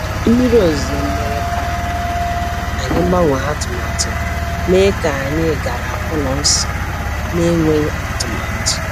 Mmiri ozuzo mere ka anyị gbanwee atụmatụ, mee ka anyị gara ụlọ nsọ n’enweghị atụmatụ.